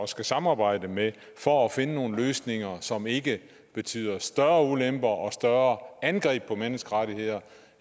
skulle samarbejde med for at finde nogle løsninger som ikke betyder større ulemper og større angreb på menneskerettigheder